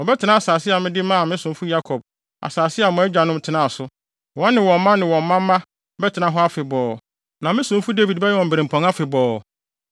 Wɔbɛtena asase a mede maa me somfo Yakob, asase a mo agyanom tenaa so. Wɔne wɔn mma ne wɔn mma mma bɛtena hɔ afebɔɔ, na me somfo Dawid bɛyɛ wɔn birɛmpɔn afebɔɔ.